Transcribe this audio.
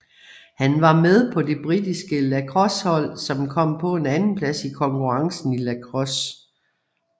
Han var med på det britiske lacrossehold som kom på en andenplads i konkurrencen i lacrosse